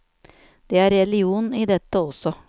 Det er religion i dette også.